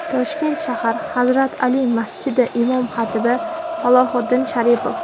Toshkent shahar «Hazrat Ali» masjidi imom-xatibi Salohiddin Sharipov.